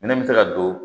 Minɛn bɛ se ka don